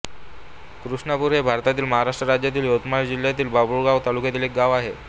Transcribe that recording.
कृष्णपूर हे भारतातील महाराष्ट्र राज्यातील यवतमाळ जिल्ह्यातील बाभुळगावतालुक्यातील एक गाव आहे